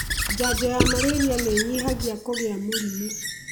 Njanjo ya Mariria nĩĩnyihagia kũgia mũrimũ